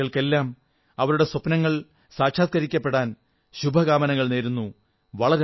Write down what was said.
ദേശവാസികൾക്കെല്ലാം അവരുടെ സ്വപ്നങ്ങൾ സാക്ഷാത്കരിക്കപ്പെടാൻ ശുഭകാമനകൾ നേരുന്നു